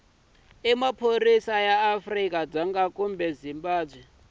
maphorisa ya afrika dzonga kumbe